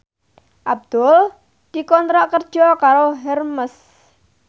Abdul dikontrak kerja karo Hermes